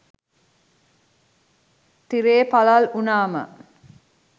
තිරේ පලල් උනාම